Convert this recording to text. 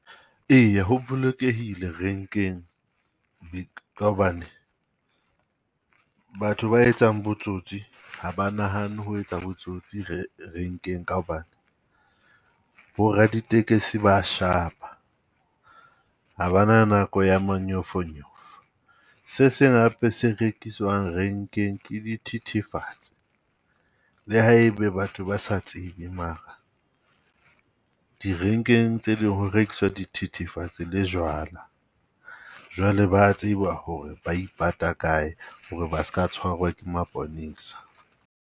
Eya ho bolokehile rank-eng ka hobane batho ba etsang botsotsi ha ba nahanne ho etsa botsotsi rank-eng ka hobane, bo raditekesi ba a shapa ha bana nako ya manyofonyofo. Se seng hape se rank-eng ke di thithifatse. Le ha e be batho ba sa tsebe mara di rank-eng tse ding ho rekiswa di thethefatsi le jwala. Jwale ba a tseba ho re ba ipata kae ho re ba ska tshwarwa ke maponesa.